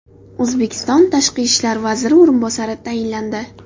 O‘zbekiston Tashqi ishlar vaziri o‘rinbosari tayinlandi.